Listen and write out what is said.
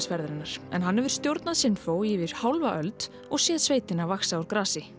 ferðarinnar en hann hefur stjórnað Sinfó í yfir hálfa öld og séð sveitina vaxa úr grasi